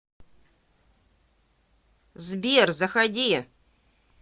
сбер заходи